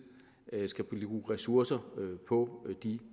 skal bruge ressourcer på de